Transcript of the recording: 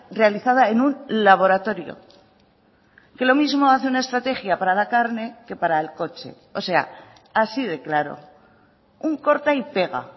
realizada en un laboratorio que lo mismo hace una estrategia para la carne que para el coche o sea así de claro un corta y pega